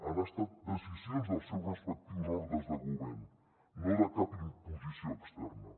han estat decisions dels seus respectius òrgans de govern no de cap imposició externa